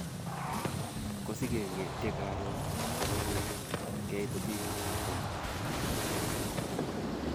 Kosikeng'etye karon asikopit keit hotelit mapema.